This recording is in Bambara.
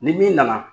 Ni min nana